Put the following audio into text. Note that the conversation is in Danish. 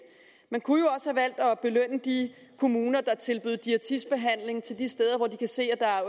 man kunne jo også valgt at belønne de kommuner der tilbød diætistbehandling de steder hvor de kan se at der er